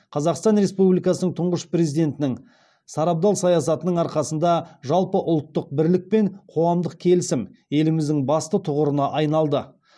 қазақстан республикасының тұңғыш президентінің сарабдал саясатының арқасында жалпыұлттық бірлік пен қоғамдық келісім еліміздің басты тұғырына айналды